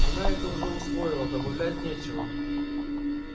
она это уже усвоила добавлять нечего